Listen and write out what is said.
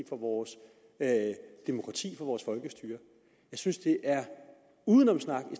for vores demokrati for vores folkestyre jeg synes det er udenomssnak i